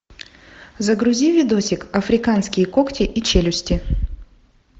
загрузи видосик африканские когти и челюсти